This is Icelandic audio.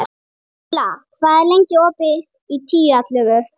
Kamilla, hvað er lengi opið í Tíu ellefu?